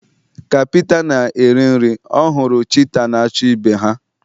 Ka Pita na-eri nri ya, ọ hụrụ cheetah na-achụ ibe ha